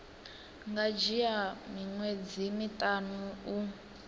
nga dzhia miṅwedzi miṱanu u